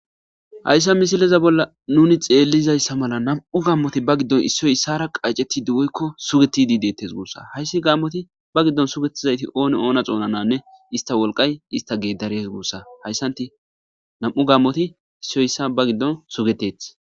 hayssa misileza bolla nuni xeellizayssa mala nam7u gammoti ba giddon issoy issara qacceti duwoykko sugetidi deettes guussa hayssi gammoti ba giddon sugettizayti ooni oona xounananne ista wolqay ista geedarees guussa hayssanti nam7u gammoti issoy issa ba giddon sugeteth